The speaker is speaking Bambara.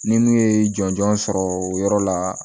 Ni mun ye jɔnjɔn sɔrɔ o yɔrɔ la